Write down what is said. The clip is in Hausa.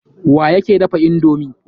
Wa yake dafa indomi?